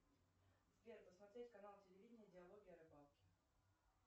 сбер посмотреть канал телевидения диалоги о рыбалке